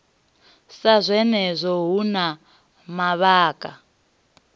sa zwenezwo hu na mavhaka